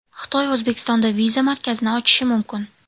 Xitoy O‘zbekistonda viza markazini ochishi mumkin.